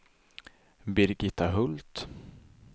Birgitta Hult